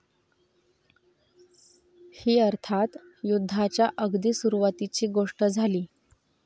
ही अर्थात युद्धाच्या अगदी सुरुवातीची गोष्ट झाली.